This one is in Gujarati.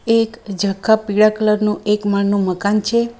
એક ઝાંખા પીળા કલર નું એક માળનું મકાન છે.